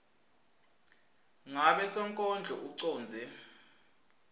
ngabe sonkondlo ucondze